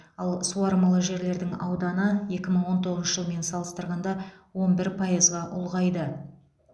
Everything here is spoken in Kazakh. ал суармалы жерлердің ауданы екі мың он тоғызыншы жылмен салыстырғанда он бір пайызға ұлғайды